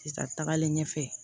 Sisan tagalen ɲɛfɛ